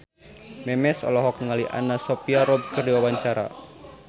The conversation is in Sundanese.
Memes olohok ningali Anna Sophia Robb keur diwawancara